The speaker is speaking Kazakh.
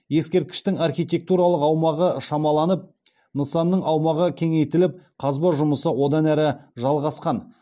ескерткіштің архитектуралық аумағы шамаланып нысанның аумағы кеңейтіліп қазба жұмысы одан әрі жалғасқан